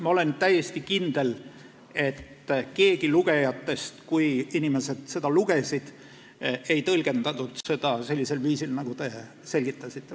Ma olen täiesti kindel, et keegi lugejatest ei tõlgendanud seda sellisel viisil, nagu te praegu selgitasite.